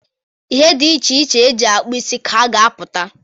Ihe di iche iche e ji akpụ isi ka a ga-apụta.